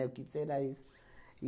O que será isso?